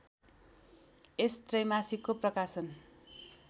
यस त्रैमासिकको प्रकाशन